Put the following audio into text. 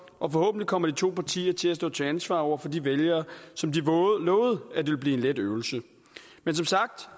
og forhåbentlig kommer de to partier til at stå til ansvar over for de vælgere som de lovede at det ville blive en let øvelse men